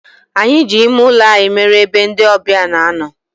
Anyi ji ime ulo anyi mere ebe ndi obia na-ano.